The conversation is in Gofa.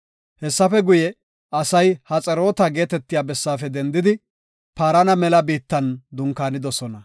Hessafe guye, asay Haxeroota geetetiya bessaafe dendidi, Paarana mela biittan dunkaanidosona.